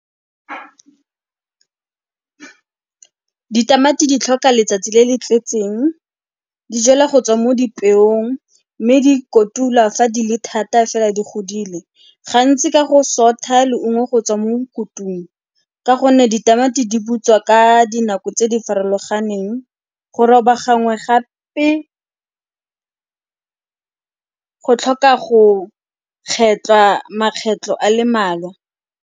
Ditamati di tlhoka letsatsi le le tletseng. Di jalwa go tswa mo dipeong mme di kotulwa fa di le thata fela di godile. Gantsi ka go sotha leungo go tswa mo kutung ka gonne ditamati di butswa ka dinako tse di farologaneng. Go roba gangwe gape go tlhoka go kgetlhwa makgetlho a le mmalwa.